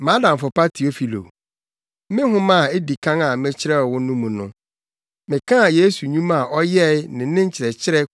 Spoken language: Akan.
Mʼadamfo pa Teofilo, me nhoma a edi kan a mekyerɛw wo no mu no, mekaa Yesu nnwuma a ɔyɛe ne ne nkyerɛkyerɛ